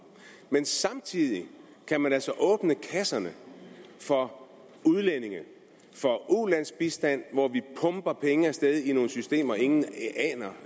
men samtidig kan man altså åbne kasserne for udlændinge for ulandsbistand hvor vi pumper penge af sted i nogle systemer og ingen